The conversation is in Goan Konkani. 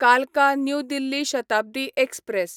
कालका न्यू दिल्ली शताब्दी एक्सप्रॅस